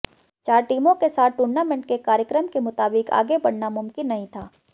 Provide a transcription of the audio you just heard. चार टीमों के साथ टूर्नामेंट के कार्यक्रम के मुताबिक आगे बढ़ना मुमकिन नहीं था